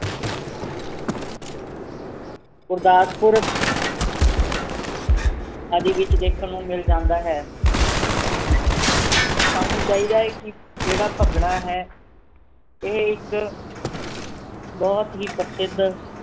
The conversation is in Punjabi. ਗੁਰਦਾਸਦਪੁਰ ਆਦਿ ਵਿਚ ਦੇਖਣ ਨੂੰ ਮਿਲ ਜਾਂਦਾ ਹੈ ਸਾਨੂੰ ਚਾਹੀਦਾ ਏ ਕਿ ਜਿਹੜਾ ਭੰਗੜਾ ਹੈ ਇਹ ਇੱਕ ਬਹੁਤ ਹੀ ਪ੍ਰਸਿੱਧ